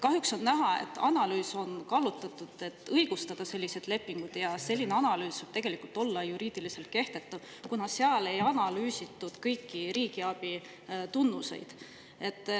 Kahjuks on näha, et analüüs on kallutatud, selleks et õigustada selliseid lepinguid, ja selline analüüs võib tegelikult olla juriidiliselt kehtetu, kuna seal ei analüüsitud kõiki riigiabi tunnuseid.